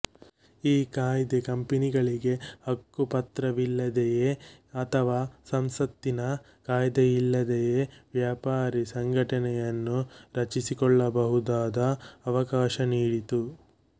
ಈ ಕಾಯ್ದೆ ಕಂಪನಿಗಳಿಗೆ ಹಕ್ಕುಪತ್ರವಿಲ್ಲದೆಯೇ ಅಥವಾ ಸಂಸತ್ತಿನ ಕಾಯ್ದೆಯಿಲ್ಲದೆಯೇ ವ್ಯಾಪಾರೀ ಸಂಘಟನೆಯನ್ನು ರಚಿಸಿಕೊಳ್ಳಬಹುದಾದ ಅವಕಾಶ ನೀಡಿತು